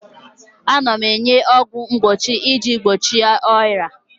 A na-enye ọgwụ mgbochi iji gbochie ọrịa.